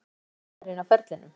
Besti samherjinn á ferlinum?